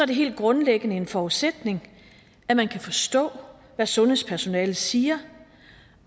det helt grundlæggende en forudsætning at man kan forstå hvad sundhedspersonalet siger